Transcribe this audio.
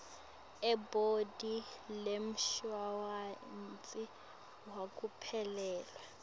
elibhodi lemshuwalensi wekuphelelwa